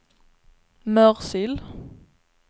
Mörsil